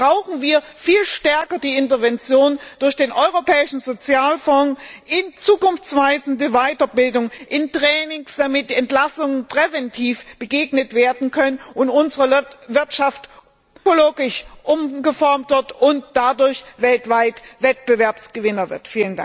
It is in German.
Deshalb brauchen wir viel stärker die Intervention durch den Europäischen Sozialfonds in zukunftweisende Weiterbildung, in Schulungen, damit Entlassungen präventiv begegnet werden kann und unsere Wirtschaft ökologisch umgeformt wird und dadurch weltweit Wettbewerbsgewinner wird.